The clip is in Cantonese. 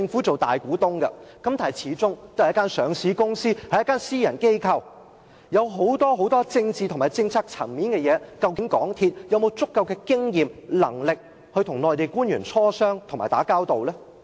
在管理邊境禁區時，港鐵公司可能會遇上許多政治和政策層面的事，究竟它是否有足夠經驗及能力，與內地官員磋商及打交道呢？